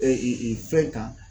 E i e fɛn kan